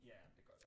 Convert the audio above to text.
Ja men det gør det